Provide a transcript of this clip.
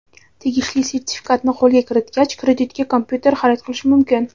tegishli sertifikatni qo‘lga kiritgach kreditga kompyuter xarid qilish mumkin.